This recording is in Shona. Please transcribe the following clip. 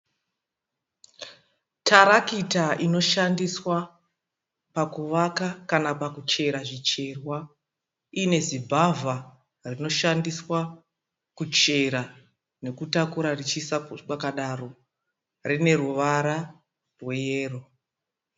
Tarakita inoshandiswa pakuvaka kana kuchera zvicherwa inezibhavha rinoshandiswa kuchera nekutakura richiisa kwakadaro. Rine ruvara rweyero.